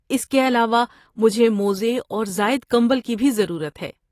اس کے علاوہ، مجھے موزے اور زائد کمبل کی بھی ضرورت ہے۔